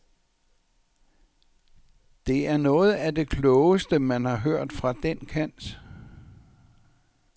Det er noget af det klogeste, man har hørt fra den kant.